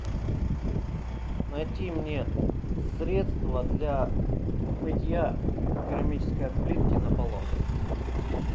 найти мне средство для мытья керамической плитки на полах